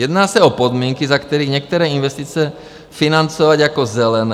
Jedná se o podmínky, za kterých některé investice financovat jako zelené.